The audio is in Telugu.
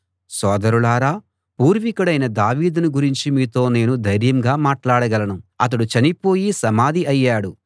సోదరులారా పూర్వికుడైన దావీదును గురించి మీతో నేను ధైర్యంగా మాట్లాడగలను అతడు చనిపోయి సమాధి అయ్యాడు